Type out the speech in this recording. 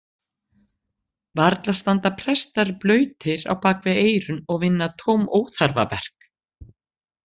Varla standa prestar blautir á bakvið eyrun og vinna tóm óþarfaverk?